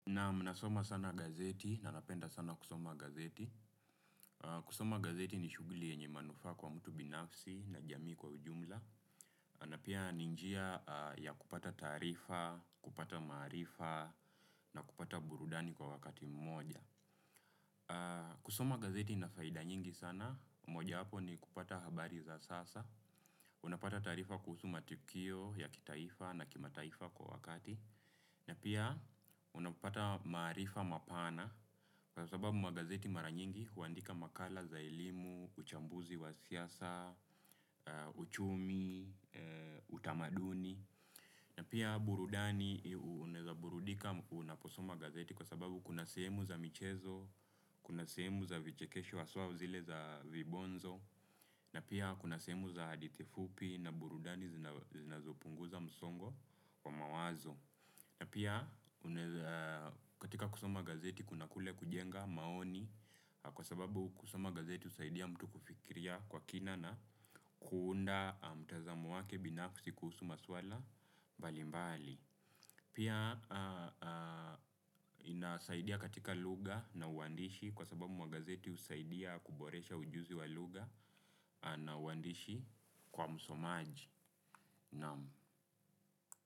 Naam, nasoma sana gazeti na napenda sana kusoma gazeti. Kusoma gazeti ni shughuli yenye manufaa kwa mtu binafsi na jamii kwa ujumla. Na pia ni njia ya kupata taarifa, kupata maarifa na kupata burudani kwa wakati mmoja. Kusoma gazeti ina faida nyingi sana. Mojawapo ni kupata habari za sasa. Unapata taarifa kuhusu matukio ya kitaifa na kimataifa kwa wakati. Na pia unapata maarifa mapana, kwa sababu magazeti mara nyingi huandika makala za elimu, uchambuzi wa siasa, uchumi, utamaduni. Na pia burudani. Unaweza burudika unaposoma magazeti kwa sababu kuna sehemu za michezo, kuna sehemu za vichekesho haswa zile za vibonzo. Na pia kuna sehemu za hadithi fupi na burudani zinazopunguza msongo wa mawazo. Na pia katika kusoma gazeti kuna kule kujenga maoni, kwa sababu kusoma gazeti husaidia mtu kufikiria kwa kina na kuunda mtazamo wake binafsi kuhusu maswala mbali mbali. Pia inasaidia katika lugha na uandishi kwa sababu magazeti husaidia kuboresha ujuzi wa lugha na uandishi kwa msomaji.